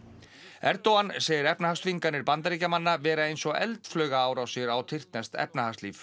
Erdogan segir efnahagsþvinganir Bandaríkjamanna vera eins og eldflaugaárásir á tyrkneskt efnahagslíf